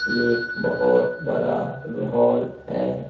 एक बहुत बड़ा हॉल है।